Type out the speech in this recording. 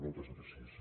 moltes gràcies